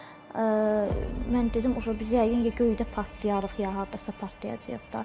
mən dedim, yəqin ki, göydə partlayarıq, ya hardasa partlayacağıq da.